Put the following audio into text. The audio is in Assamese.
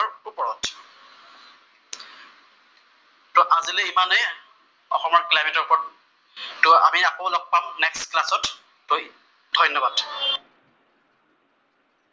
তʼ আজিলৈ ইমানেই অসমৰ ক্লাইমেতৰ ওপৰত, আমি আকৌ লগ পাম নেষ্ট ক্লাছত, ধন্যবাদ।্